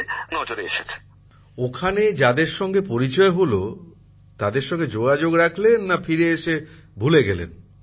প্রধানমন্ত্রী জীঃ ওখানে যাদের সাথে পরিচয় হল তাদের সঙ্গে যোগাযোগ রাখলেন না ফিরে এসে ভুলে গেলেন